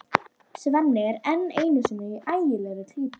Svenni er enn einu sinni í ægilegri klípu.